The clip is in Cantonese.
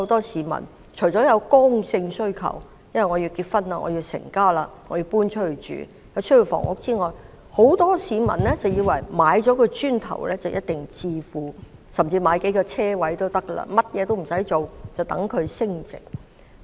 市民除了有剛性需求——要結婚成家——需要置業外，也有很多市民以為買了"磚頭"或買數個泊車位便一定能致富，甚麼也不用做，就等它們升值。